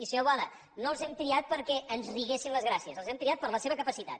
i senyor boada no els hem triat perquè ens riguessin les gràcies els hem triat per la seva capacitat